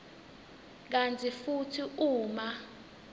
kantsi futsi uma